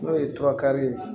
N'o ye ye